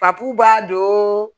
Papu b'a don